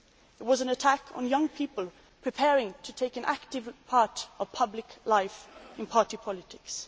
It was an attack on young people preparing to take an active part in public life in party politics.